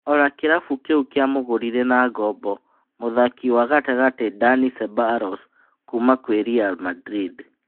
Ona kĩrabu kĩu kĩamũgũrire na ngombo mũthaki wa gatagatĩ Ndani Cebaros kuuma Ri Mandrinda.